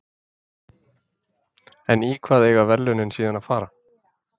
En í hvað eiga verðlaunin síðan að fara?